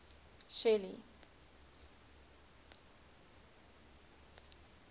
shelly